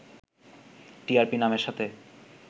TRP নামের সাথে